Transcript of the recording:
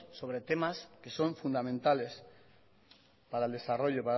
sobre temas que son fundamentales para el desarrollo